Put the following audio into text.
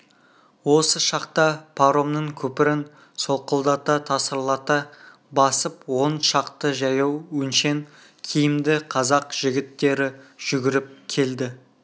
осы шақта паромның көпірін солқылдата тасырлата басып он шақты жаяу өңшең киімді қазақ жігіттері жүгіріп келді